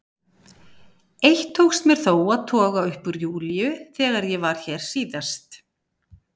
Eitt tókst mér þó að toga upp úr Júlíu þegar ég var hér síðast.